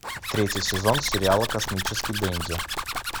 третий сезон сериала космический денди